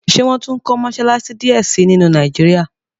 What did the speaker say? ṣe wón tún kò Mossalassi diẹ sí nínu Nàìjíríà?